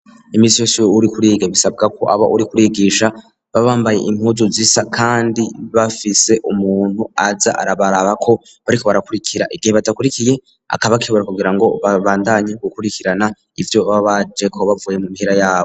Iminsi yose uri kuriga bisabwa ko aba uri kurigisha babambaye impuju zisa kandi bafise umuntu aja arabaraba ko bariko barakurikira igihe badakurikiye akaba kibura kugira ngo babandanye gukurikirana ibyo babaje kubavuye mu mpera yabo.